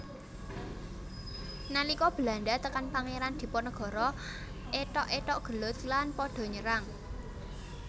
Nalika Belanda tekan Pangeran Diponegoro ethok ethok gelut lan pada nyerang